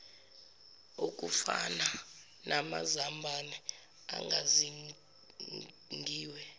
okufana namazambane agazingiwe